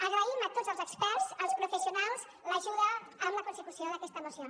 agraïm a tots els experts als professionals l’ajuda amb la consecució d’aquesta moció